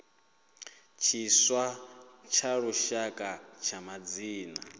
tshiswa tsha lushaka tsha madzina